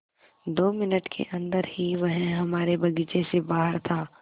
दो मिनट के अन्दर ही वह हमारे बगीचे से बाहर था